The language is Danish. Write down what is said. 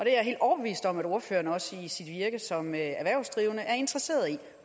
er jeg helt overbevist om at ordføreren også i sit virke som erhvervsdrivende er interesseret i